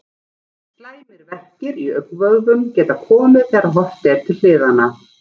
Slæmir verkir í augnvöðvum geta komið þegar horft er til hliðanna.